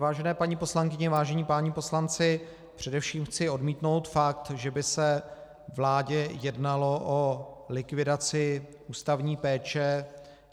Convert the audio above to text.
Vážené paní poslankyně, vážení páni poslanci, především chci odmítnout fakt, že by se vládě jednalo o likvidaci ústavní péče.